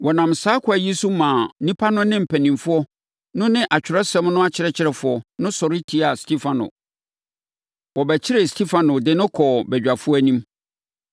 Wɔnam saa ɛkwan yi so maa nnipa no ne mpanin no ne Atwerɛsɛm no akyerɛkyerɛfoɔ no sɔre tiaa Stefano. Wɔbɛkyeree Stefano de no kɔɔ badwafoɔ anim.